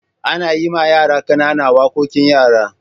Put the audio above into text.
Ana yima yara ƙanana waƙoƙin yara.